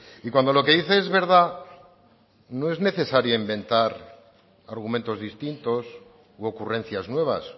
y cuando lo que dice es verdad no es necesaria inventar argumentos distintos u ocurrencias nuevas